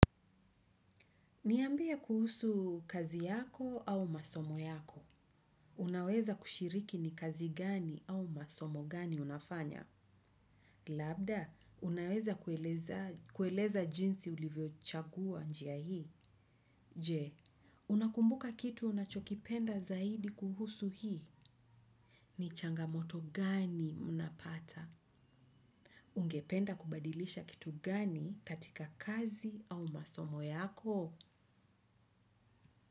Niambie kuhusu kazi yako au masomo yako. Unaweza kushiriki ni kazi gani au masomo gani unafanya. Labda, unaweza kueleza jinsi ulivyochagua njia hii. Je, unakumbuka kitu unachokipenda zaidi kuhusu hii. Ni changamoto gani unapata. Ungependa kubadilisha kitu gani katika kazi au masomo yako.